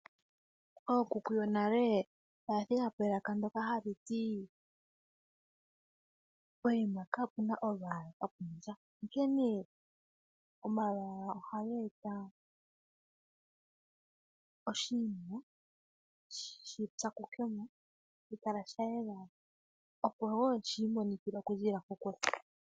Ookuku yonale oya thigako elaka ndyoka hali ti, pokuma kapuna olwaala kapunasha, onkene omalwaala ohaga eta oshinima shipyakukemo eta shi kala sha yela ,opo wo shiimonikile okuziilila kokule.